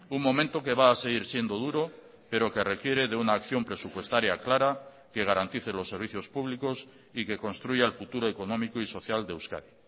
un momento que va a seguir siendo duro pero que requiere de una acción presupuestaria clara que garantice los servicios públicos y que construya el futuro económico y social de euskadi